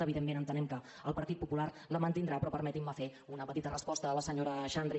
evidentment entenem que el partit popular la mantindrà però permetin me fer una petita resposta a la senyora xandri